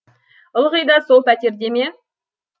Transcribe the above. ылғи да сол пәтерде ме